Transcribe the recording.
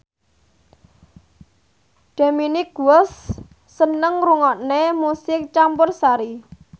Dominic West seneng ngrungokne musik campursari